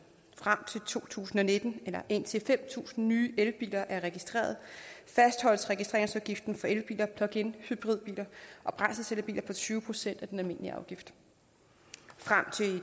frem til to tusind og nitten eller indtil fem tusind nye elbiler er registreret fastholdes registreringsafgiften for elbiler pluginhybridbiler og brændselscellebiler på tyve procent af den almindelige afgift frem til